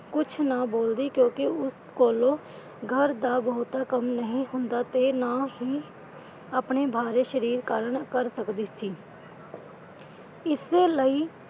ਕੁਛ ਨਾ ਬੋਲਦੀ ਕਿਉਂਕਿ ਉਸ ਕੋਲੋਂ ਘਰ ਦਾ ਬਹੁਤਾ ਕੰਮ ਨਹੀਂ ਹੁੰਦਾ ਤੇ ਨਾ ਹੀ ਆਪਣੇ ਬਾਰੇ ਸਰੀਰ ਕਰਨ ਕਰ ਸਕਦੀ ਸੀ ਇਸ ਲਈ,